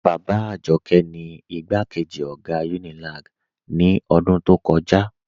Baba Ajọkẹ ni igbakeji ogá Unilag ni odún tó kọja.